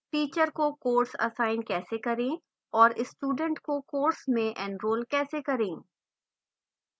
teacher को course assign कैसे करें और student को course में enrol कैसे करें